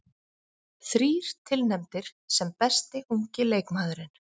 Þrír tilnefndir sem besti ungi leikmaðurinn